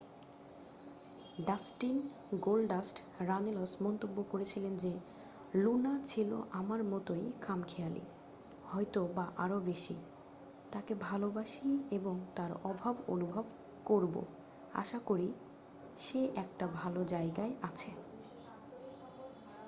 "Dustin "Goldust" Runnels মন্তব্য করেছিলেন যে "লুনা ছিল আমার মতোই খামখেয়ালি... হয়তো বা আরও বেশি... তাঁকে ভালোবাসি এবং তাঁর অভাব অনুভব করবো ... আশা করি সে একটা ভালো জায়গায় আছে।